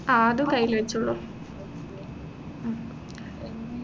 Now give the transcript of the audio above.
ആഹ് അതും കയ്യിൽ വെച്ചോളു ഉം